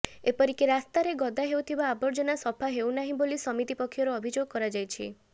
ଏପରିକି ରାସ୍ତାରେ ଗଦା ହେଉଥିବା ଆବର୍ଜନା ସଫା ହେଉ ନାହିଁ ବୋଲି ସମିତି ପକ୍ଷରୁ ଅଭିଯୋଗ କରାଯାଇଛି